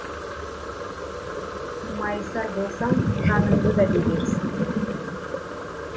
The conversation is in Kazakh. майысар болсаң жаныңды да берерсің